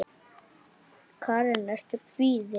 Karen: Ertu kvíðinn?